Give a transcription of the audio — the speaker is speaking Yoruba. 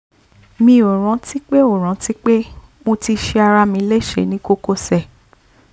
mi ò rántí pé ò rántí pé mo ti ṣe ara mi léṣe ní kókósẹ̀